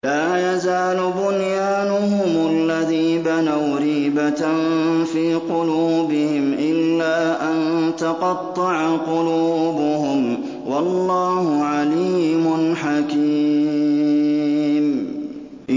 لَا يَزَالُ بُنْيَانُهُمُ الَّذِي بَنَوْا رِيبَةً فِي قُلُوبِهِمْ إِلَّا أَن تَقَطَّعَ قُلُوبُهُمْ ۗ وَاللَّهُ عَلِيمٌ حَكِيمٌ